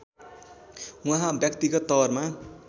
उहाँ व्यक्तिगत तवरमा